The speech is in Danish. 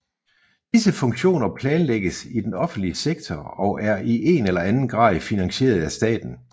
Disse funktioner planlægges i den offentlige sektor og er i en eller anden grad finansieret af staten